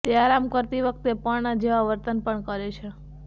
તે આરામ કરતી વખતે પર્ણ જેવા વર્તન પણ કરે છે